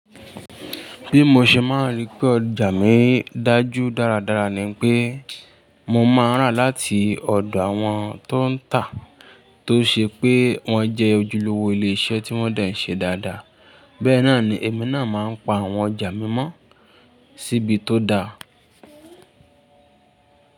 Bí mo ṣe máa ń rí pé ọjà mi dájú dáradára ni pé mo máa ń rà láti ọ̀dọ̀ àwọn tó ń tà tó ṣe pé wọ́n jẹ́ ojúlówó ilé iṣẹ́ tí wọ́n de ń ṣe dáadáa. Bẹ́ náà ni èmi náà máa ń pa àwọn ọjà mi mọ́ síbi tó da.